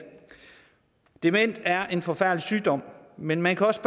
demens er en forfærdelig sygdom men man kan også